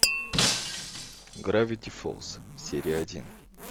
гравити фолз серия один